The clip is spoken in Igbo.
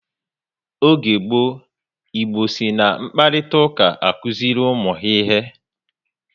Oge gboo, Igbo si na mkparitauka akuziri ụmụ ha ihe